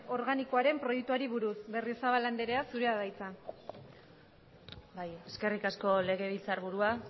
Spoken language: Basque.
organikoaren proiektuari buruz berriozabal anderea zurea da hitza eskerrik asko legebiltzarburua